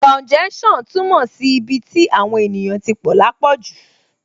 Kàúnjẹ́ṣàn túmọ̀ sí ibi tí àwọn èèyàn tí pọ̀ lápọ̀jù